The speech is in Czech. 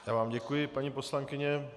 Já vám děkuji, paní poslankyně.